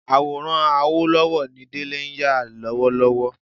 Àwòrán Awólọ́wọ̀ ni Délé ń yà lọ́wọ́lọ́wọ́